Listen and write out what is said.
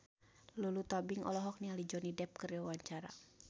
Lulu Tobing olohok ningali Johnny Depp keur diwawancara